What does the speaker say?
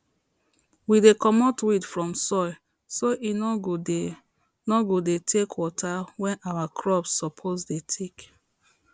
we dey comot weed from soil so e no go dey no go dey take water wey our crops suppose dey take